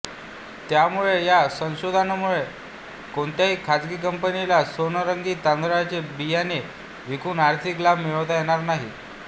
त्यामुळे या संशोधनामुळे कोणत्याही खाजगी कंपनीला सोनरंगी तांदळाचे बियाणे विकून आर्थिक लाभ मिळवता येणार नाही